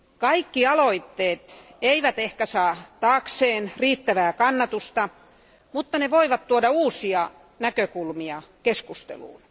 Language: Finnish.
Kaikki aloitteet eivät ehkä saa taakseen riittävää kannatusta, mutta ne voivat tuoda uusia näkökulmia keskusteluun.